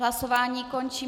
Hlasování končím.